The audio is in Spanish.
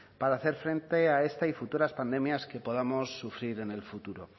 para hacer frente a esta y futuras pandemias que podamos sufrir en el futuro